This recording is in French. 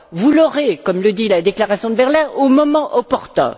Vous l'aurez, comme le dit la Déclaration de Berlin, au moment opportun.